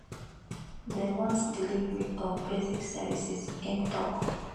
dem want delivery of basic services im tok